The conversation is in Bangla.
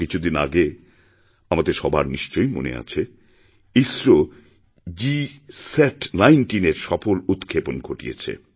কিছুদিন আগেআমাদের সবার নিশ্চয়ই মনে আছে ইসরো GSAT19 এর সফল উৎক্ষেপণ ঘটিয়েছে